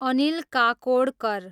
Anil Kakodkar